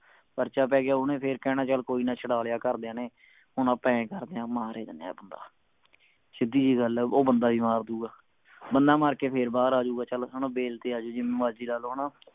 ਪਰਚਾ ਪੈ ਗਿਆ ਓਹਨੇ ਫੇਰ ਕਹਿਣਾ ਚਲ ਕੋਈ ਨਾ ਛੜਾ ਲਿਆ ਘਰਦੀਆਂ ਨੇ ਹੁਣ ਆਪਾਂ ਆਏਂ ਕਰਦੇ ਆ ਮਾਰ ਹੀ ਦਿੰਨੇ ਆ ਬੰਦਾ ਸਿੱਧੀ ਜਿਹੀ ਗੱਲ ਹੈ ਉਹ ਬੰਦਾ ਵੀ ਮਾਰ ਦੁਗਾ ਬੰਦਾ ਮਾਰ ਕੇ ਫੇਰ ਬਾਹਰ ਆ ਜਾਊਗਾ ਚਲ ਹਣਾ ਬੈਲ ਤੇ ਆ ਜਾਉ ਜਿਵੇਂ ਮਰਜੀ ਲਾ ਲਓ ਹਣਾ